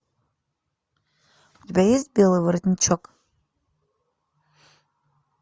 у тебя есть белый воротничок